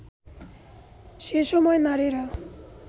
সেসময় নারীরা